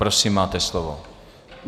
Prosím, máte slovo.